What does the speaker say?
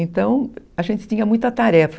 Então, a gente tinha muita tarefa.